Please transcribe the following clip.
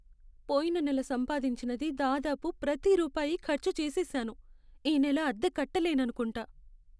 పోయిన నెల సంపాదించినది దాదాపు ప్రతి రూపాయి ఖర్చు చేసేసాను. ఈ నెల అద్దె కట్టలేననుకుంటా.